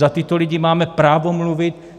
Za tyto lidi máme právo mluvit.